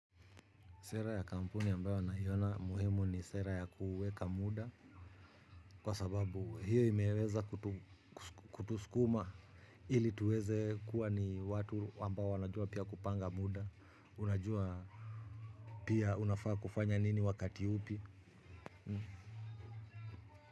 Sera ya kampuni ambayo naiona muhimu ni sera ya kuweka muda kwa sababu hiyo imeeleza kutuskuma ili tuweze kuwa ni watu ambao wanajua pia kupanga muda, unajua pia unafaa kufanya nini wakati upi.